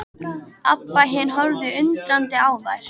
Abba hin horfði undrandi á þær.